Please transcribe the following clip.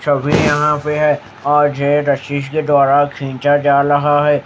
सभी यह पे है और जे वशिष्ठ द्वारा खींचा जा लहा है।